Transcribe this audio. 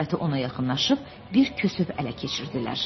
Xəlvəti ona yaxınlaşıb bir kəsəv ələ keçirtdilər.